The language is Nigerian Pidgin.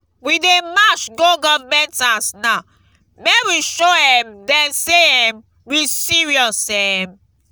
we dey march go government house now make we show um dem say um we serious um